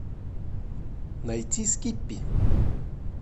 найти скиппи